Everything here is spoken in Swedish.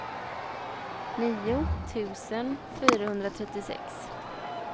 nio tusen fyrahundratrettiosex